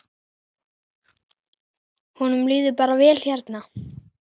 Honum líður bara vel hérna.